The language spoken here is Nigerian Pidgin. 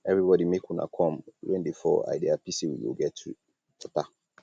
everybody make una come rain dey fall i dey happy say we go get water